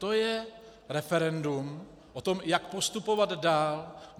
To je referendum o tom, jak postupovat dál.